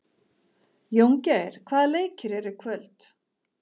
Jóngeir, hvaða leikir eru í kvöld?